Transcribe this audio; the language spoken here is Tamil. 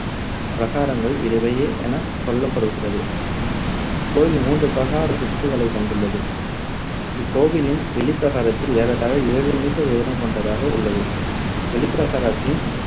பிரகாரங்கள் என சொல்லப்படுகிறது. இக்கோவில் மூன்று பிரகாரச் சுற்றுக்களைக் கொண்டுள்ளது. இக்கோவிலின் வெளிப்பிரகாரத்தில் ஏறத்தாழ ஏழு meter உயரம் கொண்டதாக உள்ளது. வெளிப்பிரகாரத்தின்